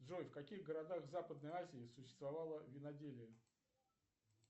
джой в каких городах западной азии существовало виноделие